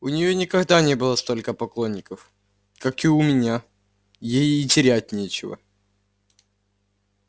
у неё никогда не было столько поклонников как у меня ей и терять нечего